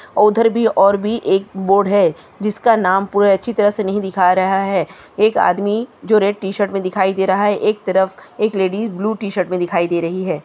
उधर भी और भी एक बोर्ड है जिसका नाम पूरा अच्छी तरह से नहीं दिख रहा है एक आदमी जो रेड टी-शर्ट में दिखाई दे रहा है एक तरफ एक लेडिस ब्लू शर्ट में दिखाई दे रही है।